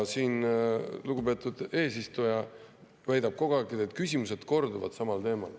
Lugupeetud eesistuja siin väidab kogu aeg, et need küsimused korduvad samal teemal.